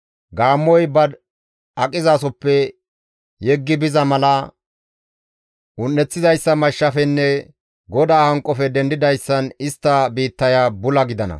Gaammoy ba aqizasoppe yeggi biza mala un7eththizayssa mashshafenne GODAA hanqofe dendidayssan istta biittaya bula gidana.